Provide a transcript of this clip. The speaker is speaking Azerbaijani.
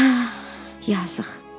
Hə, yazıq.